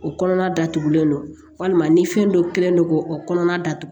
O kɔnɔna datugulen don walima ni fɛn dɔ kɛlen don k'o o kɔnɔna datugu